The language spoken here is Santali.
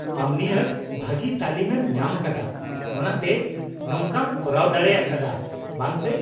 ᱼᱟᱢ ᱱᱤᱦᱟᱹᱛ ᱵᱷᱟᱹᱜᱤ ᱛᱟᱹᱞᱤᱢ ᱮᱢ ᱧᱟᱢ ᱟᱠᱟᱫᱟ ᱚᱱᱟᱛᱮ ᱱᱚᱝᱠᱟᱢ ᱠᱚᱨᱟᱣ ᱫᱟᱲᱮ ᱟᱠᱟᱫᱼᱟ, ᱵᱟᱝ ᱥᱮ ?